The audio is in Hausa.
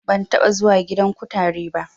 Ban taɓa zuwa gidan kutare ba